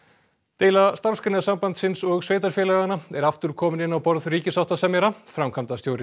deila Starfsgreinasambandsins og sveitarfélaganna er aftur komin inn á borð ríkissáttasemjara framkvæmdastjóri